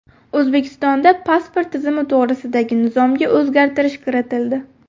O‘zbekistonda pasport tizimi to‘g‘risidagi nizomga o‘zgartirish kiritildi.